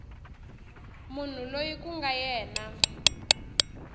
munhu loyi ku nga yena